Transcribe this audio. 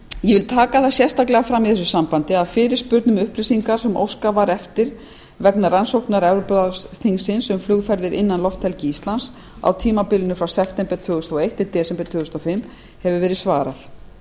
ég vil taka það sérstaklega fram í þessu sambandi að upplýsingar sem óskað var eftir vegna rannsóknar evrópuráðsþingsins um flugferðir innan lofthelgi íslands á tímabilinu frá september tvö þúsund og eitt til desember tvö þúsund og fimm hefur verið svarað